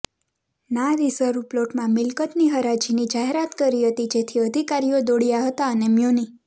ના રિઝર્વ પ્લોટમાં મિલકતની હરાજીની જાહેરાત કરી હતી જેથી અધિકારીઓ દોડયાં હતા અને મ્યુનિ